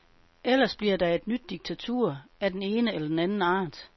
Ellers bliver der et nyt diktatur, af den ene eller den anden art.